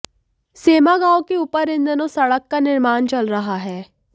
सेमा गांव के ऊपर इन दिनों सड़क का निर्माण चल रहा है